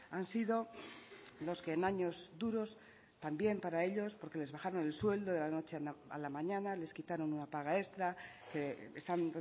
han sido los que en años duros también para ellos porque les bajaron el sueldo de la noche a la mañana les quitaron una paga extra que están